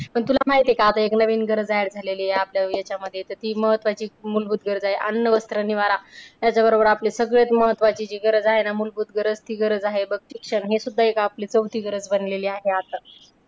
पण तुला माहिती आहे का आता एक नवीन गरज add झाली आहे आपल्या याच्यामध्ये तर ती महत्त्वाची मूलभूत गरज आहे अन्न, वस्र, निवारा याच्याबरोबर आपलं सगळ्यात महत्त्वाचं जी गरज आहे ना मूलभूत गरज ती गरज आहे बघ शिक्षण. हे सुद्धा एक आपली चौथी गरज बनलेली आहे.